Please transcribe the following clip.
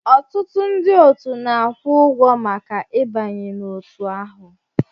Ọtụtụ ndị otu na-akwụ ụgwọ maka ịbanye n'otu ahụ